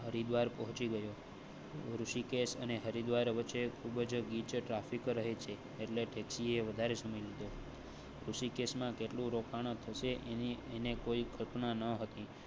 હરિદ્વાર પહોંચી ગયો ઋષિકેશ હરિદ્વાર વચ્ચે ખૂબ જ ગીચ ટ્રાફિક રહે છે. એટલે taxi એ વધારે સમય લીધો ઋષિકેશ માં કેટલું રોકાણ થશે? એને કોઈ ઘટના ન હતી